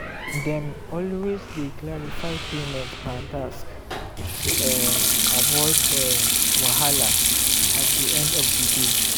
dem always dey clarify payment per task to um avoid um wahala at di end of di day.